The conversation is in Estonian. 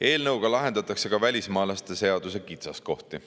Eelnõuga lahendatakse ka välismaalaste seaduse kitsaskohti.